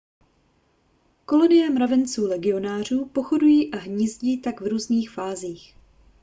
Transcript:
kolonie mravenců legionářů pochodují a hnízdí také v různých fázích